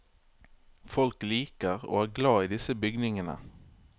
Folk liker og er glad i disse bygningene.